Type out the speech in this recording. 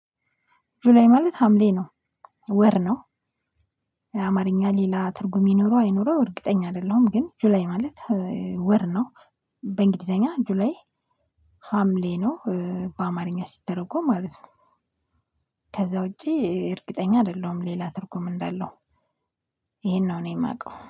ጁላይ ማለት ሀምሌ ነው። ወር ነው። አማርኛ ሌላ ትርጉም ይኖረው አይኖረው እርግጠኛ አይደለሁም። ግን ጁላይ ማለት ወር ነው። በእንግሊዘኛ ጁላይ ሀምሌ ነው በአማርኛ ሲተረጎም ማለት ነው። ከዛ ውጪ እርግጠኛ አይደለሁም ሌላ ትርጉም እንዳለው ይሄን ነው እኔ የማውቀው